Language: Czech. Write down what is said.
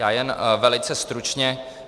Já jen velice stručně.